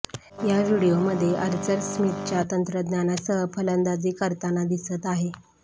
या व्हिडिओमध्ये आर्चर स्मिथच्या तंत्रज्ञानासह फलंदाजी करताना दिसत आहे